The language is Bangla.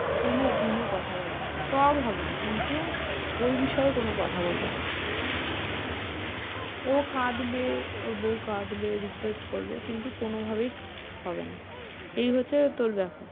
কোনো দিনও কথা বলেনি, সব হবে কিন্তু ওই বিষয়ে ও কোনো কথা বলবে না ও বাবা, ও কাঁদবে ওর বউ কাঁদবে request করবে কিন্তু কোনোভাবেই হবে না, এই হচ্ছে তোর ব্যাপার।